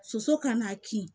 Soso kan'a kin